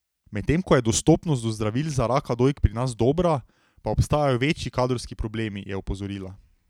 Medtem ko je dostopnost do zdravil za raka dojk pri nas dobra, pa obstajajo večji kadrovski problemi, je opozorila.